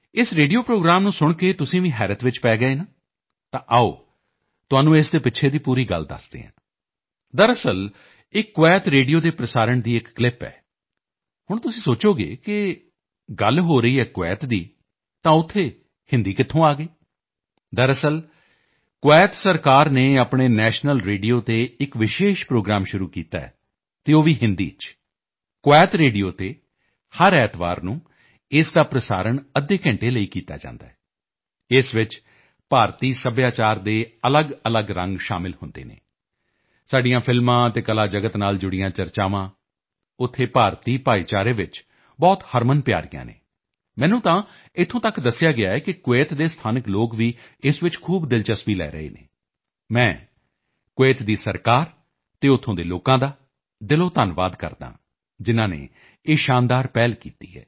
ਇਸ radio programme ਨੂੰ ਸੁਣ ਕੇ ਤੁਸੀਂ ਵੀ ਹੈਰਤ 'ਚ ਪੈ ਗਏ ਨਾ ਤਾਂ ਆਓ ਤੁਹਾਨੂੰ ਇਸ ਦੇ ਪਿੱਛੇ ਦੀ ਪੂਰੀ ਗੱਲ ਦੱਸਦੇ ਹਾਂ ਦਰਅਸਲ ਇਹ ਕੁਵੈਤ ਰੇਡੀਓ ਦੇ ਪ੍ਰਸਾਰਣ ਦੀ ਇੱਕ ਕਲਿੱਪ ਹੈ ਹੁਣ ਤੁਸੀਂ ਸੋਚੋਗੇ ਕਿ ਗੱਲ ਹੋ ਰਹੀ ਹੈ ਕੁਵੈਤ ਦੀ ਤਾਂ ਉੱਥੇ ਹਿੰਦੀ ਕਿੱਥੋਂ ਆ ਗਈ ਦਰਅਸਲ ਕੁਵੈਤ ਸਰਕਾਰ ਨੇ ਆਪਣੇ ਨੈਸ਼ਨਲ ਰੇਡੀਓ 'ਤੇ ਇੱਕ ਵਿਸ਼ੇਸ਼ ਪ੍ਰੋਗਰਾਮ ਸ਼ੁਰੂ ਕੀਤਾ ਹੈ ਅਤੇ ਉਹ ਵੀ ਹਿੰਦੀ 'ਚ ਕੁਵੈਤ ਰੇਡੀਓ 'ਤੇ ਹਰ ਐਤਵਾਰ ਨੂੰ ਇਸ ਦਾ ਪ੍ਰਸਾਰਣ ਅੱਧੇ ਘੰਟੇ ਲਈ ਕੀਤਾ ਜਾਂਦਾ ਹੈ ਇਸ 'ਚ ਭਾਰਤੀ ਸੱਭਿਆਚਾਰ ਦੇ ਅਲੱਗ ਅਲੱਗ ਰੰਗ ਸ਼ਾਮਲ ਹੁੰਦੇ ਹਨ ਸਾਡੀਆਂ ਫਿਲਮਾਂ ਅਤੇ ਕਲਾ ਜਗਤ ਨਾਲ ਜੁੜੀਆਂ ਚਰਚਾਵਾਂ ਉੱਥੇ ਭਾਰਤੀ ਭਾਈਚਾਰੇ ਵਿੱਚ ਬਹੁਤ ਹਰਮਨਪਿਆਰੀਆਂ ਹਨ ਮੈਨੂੰ ਤਾਂ ਇੱਥੋਂ ਤੱਕ ਦੱਸਿਆ ਗਿਆ ਹੈ ਕਿ ਕੁਵੈਤ ਦੇ ਸਥਾਨਕ ਲੋਕ ਵੀ ਇਸ 'ਚ ਖੂਬ ਦਿਲਚਸਪੀ ਲੈ ਰਹੇ ਹਨ ਮੈਂ ਕੁਵੈਤ ਦੀ ਸਰਕਾਰ ਅਤੇ ਉੱਥੋਂ ਦੇ ਲੋਕਾਂ ਦਾ ਦਿਲੋਂ ਧੰਨਵਾਦ ਕਰਦਾ ਹਾਂ ਜਿਨ੍ਹਾਂ ਨੇ ਇਹ ਸ਼ਾਨਦਾਰ ਪਹਿਲ ਕੀਤੀ ਹੈ